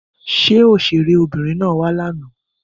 Ṣé òṣèré Obìnrin na wa lànà?